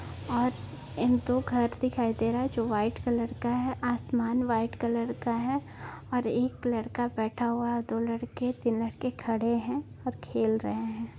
आज एक दो घर दिखाई दे रहा है जो व्हाइट कलर का है आसमान व्हाइट कलर का है और एक लड़का बैठा हुआ और दो लड़के तीन लड़के खड़े है और खेल रहे है।